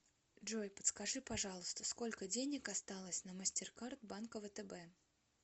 джой подскажи пожалуйста сколько денег осталось на мастеркард банка втб